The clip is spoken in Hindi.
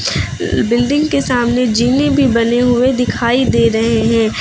बिल्डिंग के सामने जीने भी बने हुए दिखाई दे रहे हैं।